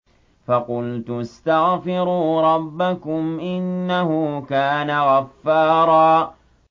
فَقُلْتُ اسْتَغْفِرُوا رَبَّكُمْ إِنَّهُ كَانَ غَفَّارًا